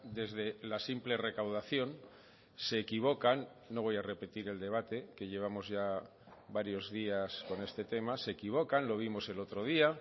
desde la simple recaudación se equivocan no voy a repetir el debate que llevamos ya varios días con este tema se equivocan lo vimos el otro día